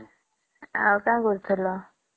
ଆଉ କା କରୁଥିଲା ?